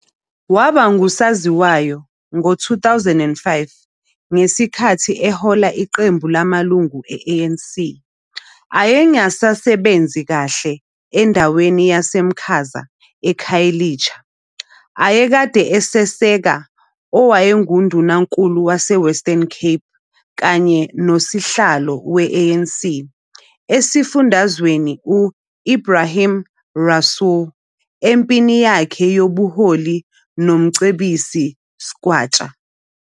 Waba ngusaziwayo ngo-2005, ngesikhathi ehola iqembu lamalungu e-ANC ayengasebenzi kahle endaweni yaseMakhaza eKhayelitsha ayekade eseseka owayenguNdunankulu waseWestern Cape kanye noSihlalo we-ANC esifundazweni u-Ebrahim Rasool empini yakhe yobuholi noMcebisi Skwatsha.